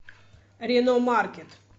рено маркет